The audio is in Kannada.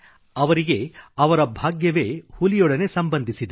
ಅವರಿಗೆ ಅವರ ಭಾಗ್ಯವೇ ಹುಲಿಯೊಡನೆ ಸಂಬಂಧಿಸಿದೆ